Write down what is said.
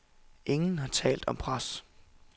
Ingen har talt om pres.